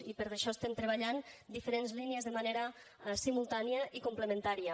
i per això estem treballant diferents línies de manera simultània i complementària